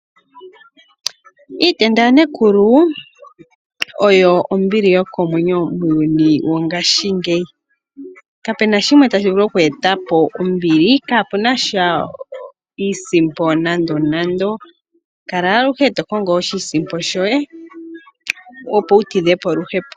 Iitenda ya nekulu oyo ombili yokomwenyo muuyuni wongaashi ngeyi. Kapena shimwe tashi vulu oku etapo ombili kapuna sha iisimpo nando nando, kala aluhe tokongo oshisimpo shoye opo wu tidhepo oluhepo.